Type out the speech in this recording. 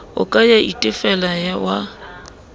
o ka ya itefela wa